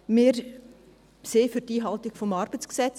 Wir sind für die Einhaltung des ArG;